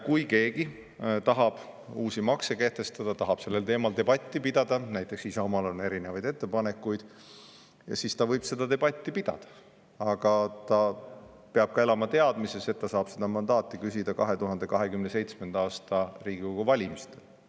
Kui keegi tahab uusi makse kehtestada, tahab sellel teemal debatti pidada, näiteks Isamaal on erinevaid ettepanekuid, siis ta võib seda debatti pidada, aga ta peab ka elama teadmises, et ta saab seda mandaati küsida 2027. aasta Riigikogu valimistel.